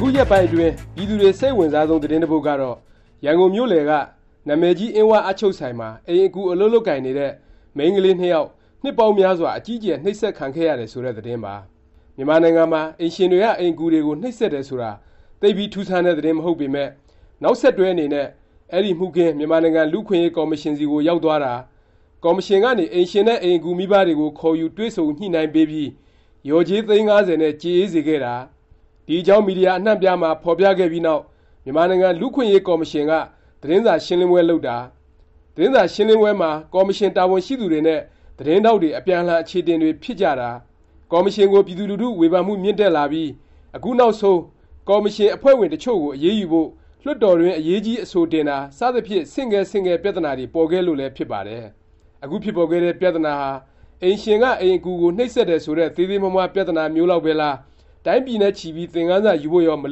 ခုရက်ပိုင်း အတွင်း ပြည်သူတွေ စိတ်အဝင်စားဆုံး သတင်းတစ်ပုဒ်ကတော့ ရန်ကုန်မြို့လည်က နာမည်ကြီး အင်း၀ အပ်ချုပ်ဆိုင်မှာ အိမ်အကူ အလုပ် လုပ် ကိုင်နေတဲ့ မိန်းကလေးနှစ်ယောက် နှစ်ပေါင်းများစွာ အကြီးအ ကျယ် နှိပ်စက်ခံ ခဲ့ရတယ် ဆိုတဲ့ သတင်းပါ။ မြန်မာနိုင်ငံမှာ အိမ်ရှင်တွေက အိမ်အကူတွေ ကို နှိပ်စက်တယ်ဆိုတာ သိပ်ပြီး ထူးဆန်းတဲ့ သတင်းမဟုတ်ပေ မယ့် နောက်ဆက် တွဲအနေနဲ့ အဲဒီ မှုခင်း မြန်မာနိုင်ငံ လူ့အခွင့်အရေး ကော်မရှင်ဆီ ကို ရောက်သွား တာ၊ ကော်မရှင်ကနေ အိမ်ရှင်နဲ့ အိမ်အကူ မိဘတွေကို ခေါ်ယူ တွေ့ဆုံ ညှိနှိုင်းပေးပြီး လျော်ကြေး သိန်း ၅၀ နဲ့ ကြေအေးစေခဲ့တာ၊ ဒီအကြောင်း မီဒီယာ အနှံ့အပြား မှာ ဖော်ပြခဲ့ပြီးနောက် မြန်မာနိုင်ငံ လူ့အခွင့်အရေး ကော်မရှင်က သတင်းစာ ရှင်းလင်းပွဲလုပ်တာ၊ သတင်းစာ ရှင်းလင်းပွဲမှာ ကော်မရှင် တာဝန်ရှိ သူတွေနဲ့ သတင်းထောက်တွေ အပြန်အလှန် အခြေအ တင်တွေ ဖြစ်ကြ တာ၊ ကော်မရှင်ကို ပြည်သူလူထု ဝေဖန်မှု မြင့်တက်လာပြီး အခုနောက် ဆုံး ကော်မရှင်ကို အရေးယူဖို့ လွှတ်တော်တွင်း အရေးကြီး အဆိုတင်တာ စသဖြင့် ဆင့်ကဲ ဆင့်ကဲ ပြသနာတွေ ပေါ်ခဲ့လို့လဲ ဖြစ်ပါတယ်။ အခုဖြစ်ပေါ်ခဲ့တဲ့ ပြသနာဟာ အိမ်ရှင်က အိမ်အကူကို နှိပ်စက်တယ် ဆိုတဲ့ သေးသေးမွှား မွှား ပြသနာမျိုးလောက် ပဲလား၊ တိုင်းပြည်နဲ့ ချီပြီး သင်ခန်းစာယူဖို့ရော မ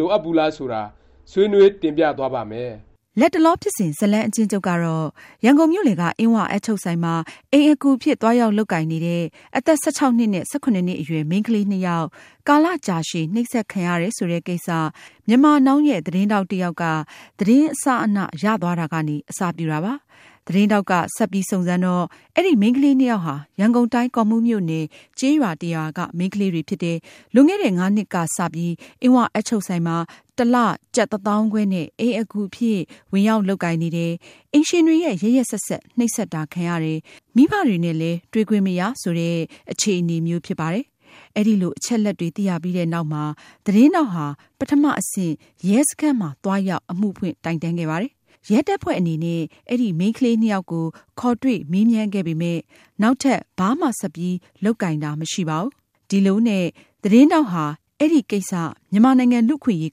လိုအပ်ဘူးလား ဆိုတာ ဆွေးနွေး တင်ပြသွားပါ့မယ်။ လတ်တလော ဖြစ်စဉ် ဇတ်လမ်း အကျဉ်းချုပ်ကတော့ ရန်ကုန်မြို့လည်က အင်း၀ အပ်ချုပ်ဆိုင်မှာ အိမ်အကူအဖြစ် သွားရောက် လုပ်ကိုင်နေတဲ့ အသက် ၁၆ နှစ်နဲ့ ၁၇ နှစ် အရွယ် မိန်းကလေးနှစ်ယောက် ကာလကြာရှည် နှိပ်စက်ခံရတယ် ဆိုတဲ့ကိစ္စ Myanmar Now သတင်းထောက်တစ်ယောက် သတင်းအစအန ရသွားတာကနေ အစပြုတာပါ။ သတင်းထောက်က ဆက်ပြီး စုံစမ်းတော့ အဲဒီ မိန်းကလေးနှစ်ယောက်ဟာ ရန်ကုန်တိုင်း ကော့မှူးမြို့နယ် ကျေးရွာတစ်ရွာက မိန်းကလေးတွေဖြစ်တယ်၊ လွန်ခဲ့တဲ့ ၅ နှစ်ကစ အင်း၀ အပ်ချုပ်ဆိုင်မှာ တစ်လ ကျပ် တစ်သောင်းခွဲနဲ့ အိမ်အကူအဖြစ် ဝင်ရောက် လုပ်ကိုင်နေတယ်၊ အိမ်ရှင်တွေရဲ့ ရက်ရက်စက်စက် နှိပ်စက်တာ ခံရတယ်၊ မိဘနဲ့လည်း တွေ့ခွင့်မရ ဆိုတဲ့ အခြေအနေမျိုးဖြစ်ပါတယ်။ အဲလို အချက်အလက်တွေ သိရပြီးနောက်မှာ သတင်းထောက်ဟာ ပထမ အဆင့် ရဲစခန်းမှာ သွားရောက် အမှုဖွင့်တိုင်တန်းခဲ့ ပါတယ်။ ရဲတပ်ဖွဲ့အနေနဲ့ အဲဒီ မိန်းကလေးနှစ်ယောက် ကို ခေါ်တွေ့မေးမြန်းခဲ့ပေ မယ့် နောက်ထပ် ဘာမှ ဆက်ပြီး လုပ်ကိုင်တာ မရှိပါဘူး။ ဒီလိုနဲ့ သတင်းထောက် ဟာ အဲဒီကိစ္စ မြန်မာနိုင်ငံ လူ့အခွင့်အရေး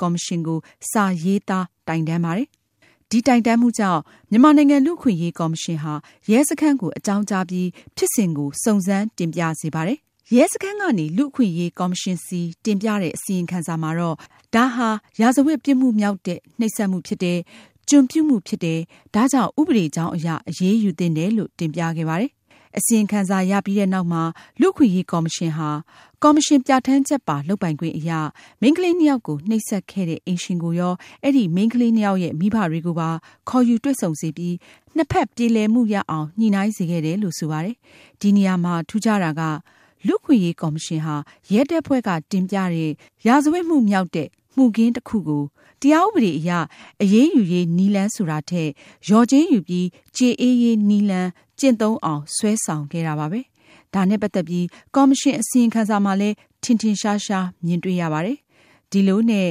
ကော်မရှင်ကို စာရေး သား တိုင်တန်း ပါတယ်။ တိုင်တန်းမှုကြောင့် မြန်မာနိုင်ငံ လူ့အခွင့်အရေး ကော်မရှင် ဟာ ရဲစခန်းကို အကြောင်းကြားပြီး ဖြစ်စဉ်ကို စုံစမ်း တင်ပြစေပါတယ်။ ရဲစခန်းကနေ လူ့အခွင့်အရေး ကော်မရှင်ဆီ တင်ပြတဲ့ အစီရင်ခံစာမှာတော့ ဒါဟာ ရာဇဝတ် ပြစ်မှုမြောက်တဲ့ နှိပ်စက်မှုဖြစ်တယ်၊ ကျွန်ပြုမှုဖြစ်တယ်၊ ဒါကြောင့် ဥပဒေကြောင်းအရ အရေးယူသင့်တယ်လို့ တင်ပြခဲ့ပါတယ်။ အစီရင်ခံစာရပြီးနောက် လူ့အခွင့်အရေးကော်မရှင်ဟာ ကော်မရှင် ပြဌာန်းချက်ပါ လုပ်ပိုင်ခွင့်အရ မိန်းကလေးနှစ်ယောက်ကို နှိပ်စက်ခဲ့တဲ့ အိမ်ရှင်ကိုရော၊ အဲဒီ မိန်းကလေးနှစ်ယောက်ရဲ့ မိဘတွေကိုပါ ခေါ်ယူ တွေ့ဆုံေ စပြီး နှစ် ဖက် ပြေလည် မှုရအောင် ညှိနှိုင်းစေခဲ့တယ်လို့ ဆိုပါတယ်။ ဒီနေရာမှာ ထူးခြားတာက လူ့အခွင့် အရေးကော်မရှင်ဟာ ရဲတပ်ဖွဲ့က တင်ပြတဲ့ ရာဇဝတ်မြောက်တဲ့ မှုခင်းတစ်ခုကို တရားဥပဒေအရ အရေးယူရေး နည်းလမ်း ဆိုတာ ထက် လျော်ကြေး ယူပြီး ကျေအေးရေး နည်းလမ်း ကျင့်သုံးအောင် ဆွဲဆောင်ခဲ့တာပါပဲ။ ဒါနဲ့ ပတ်သက်ပြီး ကော်မရှင် အစီရင်ခံစာမှာလည်း ထင်ထင်ရှားရှားမြင်တွေ့ရပါတယ်။ ဒီလိုနဲ့ ၄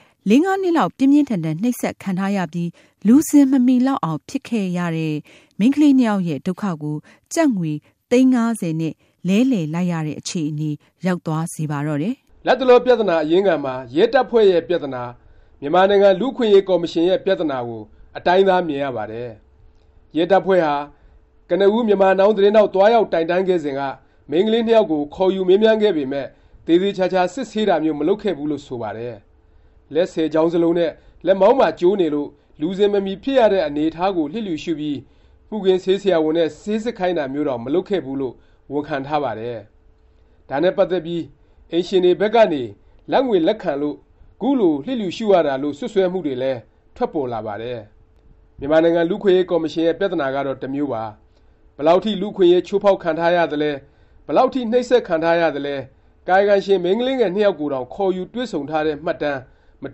-၅ နှစ်လောက် ပြင်းပြင်းထန်ထန် နှိပ်စက်ခံထားရပြီး လူစဉ်မ မီလောက်အောင် ဖြစ်ခဲ့ရတဲ့ မိန်းကလေးနှစ်ယောက်ရဲ့ ဒုက္ခကို ကျပ်ငွေ သိန်း ၅၀ နဲ့ လဲလှယ်လိုက်ရတဲ့ အခြေအနေ ရောက်သွားစေပါတော့တယ်။ လတ်တလော ပြသနာ အရင်းခံမှာ ရဲတပ်ဖွဲ့ရဲ့ ပြသနာ၊ မြန်မာနိုင်ငံ လူ့အခွင့်အရေး ကော်မရှင်ရဲ့ ပြသနာကို အတိုင်းသား မြင်ရပါတယ်။ ရဲတပ်ဖွဲ့ဟာ ကနဦး Myanmar Now သတင်းထောက် သွားရောက် တိုင်တန်းခဲ့စဉ်က မိန်းကလေးနှစ်ယောက်ကို ခေါ်ယူမေးမြန်းခဲ့ပေမယ့် သေသေခြာခြာစစ်ဆေးတာမျိုး မလုပ်ခဲ့ဖူးလို့ ဆိုပါတယ်။ လက်ဆယ်ချောင်းစလုံးနဲ့ လက်မောင်းပါကျိုးနေလို့ လူစဉ်မမီဖြစ်ရတဲ့ အနေအထားကို လျစ်လျူရှုပြီး မှုခင်းဆေးဆရာဝန်နဲ့ စစ်ဆေးခိုင်းတာမျိုးတောင် မလုပ်ခဲ့ဖူးလို့ ဝန်ခံထားပါတယ်။ ဒါနဲ့ ပတ်သက်ပြီး အိမ်ရှင်တွေဘက်ကနေ လာဘ်ငွေ လက်ခံလို့ ခုလို လျစ်လျူရှုရတာလို့ စွတ်စွဲမှုတွေလည်း ထွက်ပေါ်ပါတယ်။ မြန်မာနိုင်ငံ လူ့အခွင့်အရေး ကော်မရှင်ရဲ့ ပြသနာကတော့ တစ်မျိုးပါ။ ဘယ်လောက်အထိ လူ့အခွင့်အရေး ချိုးဖေါက်ခံထားရသလဲ၊ ဘယ်လောက် အထိ နှိပ်စက်ခံထားရသလဲ ကာယကံရှင် မိန်းကလေး ငယ်နှစ်ယောက် ကိုတောင် ခေါ်ယူတွေ့ဆုံထားတဲ့ မှတ်တမ်း မ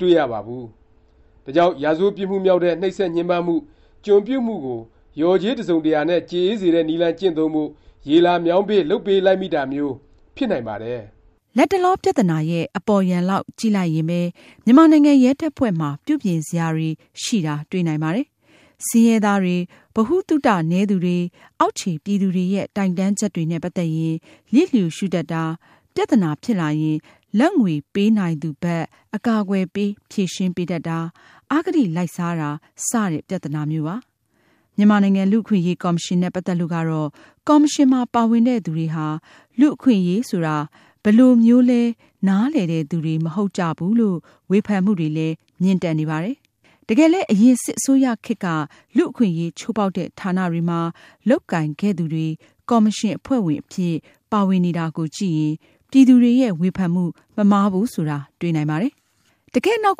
တွေ့ရ ပါဘူး။ ဒါကြောင့် ရာဇဝတ်ပြစ်မှုမြောက်တဲ့ နှိပ်စက်ညှင်းပန်းမှု၊ ကျွန်ပြုမှုကို လျော်ကြေး တစ်စုံတစ်ရာနဲ့ ကြေအေးစေတဲ့ နည်းလမ်း ကျင့်သုံးဖို့ ရေလာမြောင်းပေး လုပ်ပေးလိုက်မိတာမျိုး ဖြစ်နိုင်ပါတယ်။ လတ်တလော ပြသနာရဲ့ အပေါ်ယံလောက် ကြည့်လိုက်ရင်ပဲ မြန်မာနိုင်ငံ ရဲတပ်ဖွဲ့မှာ ပြုပြင်စရာတွေရှိတာ တွေ့နိုင်ပါတယ်။ ဆင်းရဲသားတွေ၊ ဗဟုသုတ နည်းသူတွေ၊ အောက်ခြေ ပြည်သူတွေရဲ့ တိုင်တန်းချက်တွေနဲ့ ပတ်သက်ရင် လျစ်လျူရှုတတ်တာ၊ ပြသနာ ဖြစ်လာရင် လာဘ်ငွေပေးနိုင်သူဘက် အကာအ ကွယ်ပေး ဖြေရှင်းပေးတတ်တာ၊ အဂတိလိုက်စားတာ စတဲ့ ပြသနာ မျိုးပါ။ မြန် မာနိုင်ငံ လူ့အခွင့်အရေး ကော်မရှင်နဲ့ ပတ်သက်လို့ကတော့ ကော်မရှင်မှာ ပါဝင်တဲ့ သူတွေဟာ လူ့အခွင့်အရေးဆိုတာ ဘယ်လိုမျိုးလည်း နားလည်တဲ့သူတွေ မဟုတ်ကြဘူးလို့ ဝေဖန်မှုတွေလည်း မြင့်တက်နေပါတယ်။ တကယ်လည်း အရင်စစ်အစိုးရခေတ်က လူ့အခွင့်အရေး ချိုးဖေါက်တဲ့ ဌာနတွေမှာ လုပ်ကိုင်ခဲ့ သူတွေ ကော်မရှင် အဖွဲ့ဝင်အဖြစ် ပါဝင်နေတာ ကိုကြည့်ရင် ပြည်သူတွေ ရဲ့ ဝေဖန်မှု မမှားဘူး ဆိုတာ တွေ့နိုင်ပါတယ်။ တကယ့် နောက်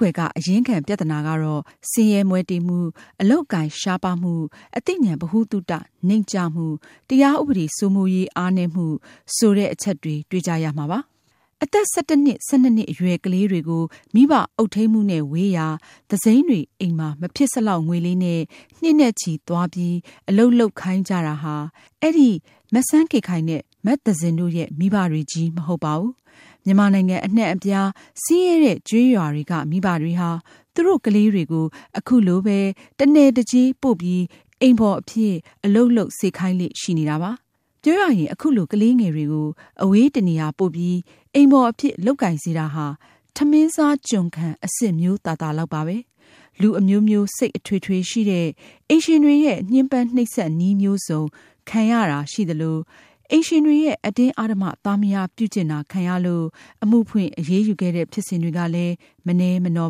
ကွယ်က အရင်းခံ ပြသနာကတော့ ဆင်းရဲမွဲတေမှု၊ အလုပ်အကိုင် ရှားပါးမှု၊၊ အသိဉာဏ်ဗဟုသုတ နိမ့်ကျမှု၊ တရားဥပဒေ စိုးမိုးမှု အားနည်းမှု ဆိုတဲ့ အချက်တွေ တွေ့ကြရမှာပါ။ အသက် ၁၁နှစ်၊ ၁၂ နှစ် အရွယ်ကလေးတွေကို မိဘ အုပ်ထိမ်းမှုနဲ့ ဝေးရာ၊ သူစိမ်းတွေအိမ်မှာ မဖြစ်စလောက် ငွေလေးနဲ့ နှစ်နဲ့ချီ သွားပြီး အလုပ်လုပ်ခိုင်းကြတာဟာ အဲဒီ မစန်းကေခိုင်နဲ့ မသဇင်တို့ မိဘတွေချည်းပဲ မဟုတ်ပါဘူး။ မြန်မာနိုင်ငံ အနှံ့အပြား ဆင်းရဲတဲ့ ကျေးရွာတွေက မိဘတွေဟာ သူတို့ကလေးတွေကို ခုလိုပဲ တစ်နယ်တစ်ကျေးပို့ပြီး အိမ်ဖော်အဖြစ် အလုပ်လုပ်စေ ခိုင်းလေ့ ရှိနေတာပါ။ ပြောရရင် ခုလို ကလေးငယ်တွေကို အဝေးတစ်နေရာပို့ပြီး အိမ်ဖော်အဖြစ် လုပ်ကိုင်စေတာဟာ ထမင်းစားကျွန်ခံ အဆင့်မျိုးသာသာလောက် ပါပဲ။ လူအမျိုးမျိုး စိတ်အထွေထွေ ရှိတဲ့ အိမ်ရှင်တွေရဲ့ ညှင်းပန်းနှိပ်စက်နည်းမျိုးစုံ ခံရတာ ရှိသလို၊ အိမ်ရှင်တွေရဲ့ အတင်းအားဓမ္မ သားမယားပြုကျင့်တာ ခံရလို့ အမှုဖွင့် အရေးယူခဲ့တဲ့ ဖြစ်စဉ်တွေကလည်း မနည်းမနော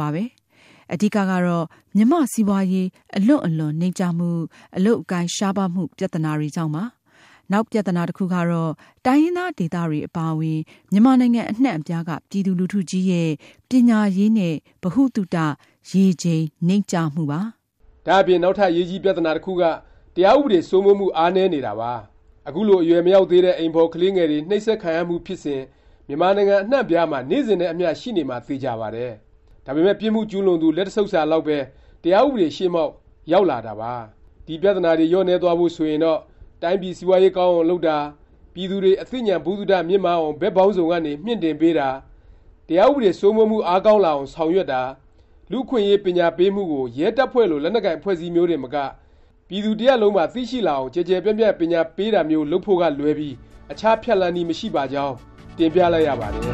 ပါပဲ။ အဓိက ကတော့ မြန်မာ့စီးပွားရေး အလွန့်အလွန် နိမ့်ကျမှု၊ အလုပ်အကိုင်ရှား ပါးမှု ပြသ နာကြောင့်ပါ။ နောက်ပြသနာ တစ်ခုက တိုင်းရင်းသားဒေသတွေ အပါအဝင် မြန်မာနိုင်ငံ အနှံ့အပြားက ပြည်သူလူထုကြီးရဲ့ ပညာရေးနဲ့ ဗဟုသုတ ရေချိန်နိမ့်ကျမှုပါ။ ဒါ့အပြင် နောက်ထပ် အရေးကြီးပြသနာ တစ်ခုက တရားဥပဒေ စိုးမိုးမှု အား နည်းနေတာပါ။ အခုလို အရွယ်မရောက်သေးတဲ့ အိမ်ဖော် ကလေး ငယ်တွေ နှိပ်စက်ခံရမှုဖြစ်စဉ် မြန်မာနိုင်ငံ အနှံ့အပြားမှာ နေ့စဉ်နဲ့အမျှ ရှိနေ မှာ သေခြာပါတယ်။ ဒါပေမယ့် ပြစ်မှုကျူးလွန်သူ လက်တစ်ဆုတ်စာ လောက်ပဲ တရားဥပဒေရှေ့မှောက် ရောက်လာတာပါ။ ဒီ ပြသနာတွေ လျော့နည်းသွားဖို့ ဆိုရင်တော့ တိုင်းပြည် စီးပွားရေးကောင်းအောင် လုပ်တာ၊ ပြည်သူတွေ အသိဉာဏ် ဗဟုသုတ မြင့်မားအောင် ဘက်ပေါင်းစုံကနေ မြှင့်တင်ပေးတာ၊ တရားဥပဒေ စိုးမိုးမှု အားကောင်းလာအောင် ဆောင်ရွက်တာ၊ လူ့အခွင့်အရေး ပညာပေးမှုကို ရဲတပ် ဖွဲ့လို လက်နက်ကိုင် အဖွဲ့အစည်းမျိုးတင်မက ပြည်သူတစ်ရပ်လုံးပါ သိရှိ လာအောင် ကျယ်ကျယ်ပြန့်ပြန့် ပညာပေးတာမျိုး လုပ်ဖို့ကလွဲပြီး အခြား ဖြတ်လမ်းနည်း မရှိပါကြောင်း တင်ပြလိုက်ရပါတယ်။